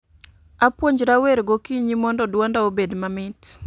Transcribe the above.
Apuonjra wer gokinyi mondo duonda obed mamit